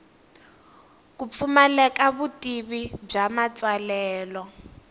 ku pfumaleka vutivi bya matsalelo